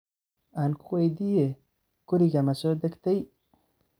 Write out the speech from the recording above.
Ankuweydiye, kuriga masodhakdey?